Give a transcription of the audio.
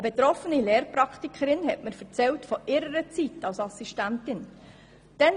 Eine betroffene Lehrpraktikerin hat mir von ihrer Zeit als Assistentin erzählt.